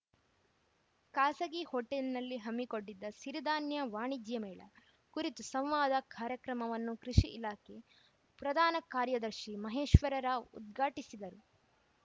ಖಾಸಗಿ ಹೋಟೆಲ್‌ನಲ್ಲಿ ಹಮ್ಮಿಕೊಂಡಿದ್ದ ಸಿರಿಧಾನ್ಯ ವಾಣಿಜ್ಯ ಮೇಳ ಕುರಿತು ಸಂವಾದ ಕಾರ್ಯಕ್ರಮವನ್ನು ಕೃಷಿ ಇಲಾಖೆ ಪ್ರಧಾನ ಕಾರ್ಯದರ್ಶಿ ಮಹೇಶ್ವರ ರಾವ್‌ ಉದ್ಘಾಟಿಸಿದರು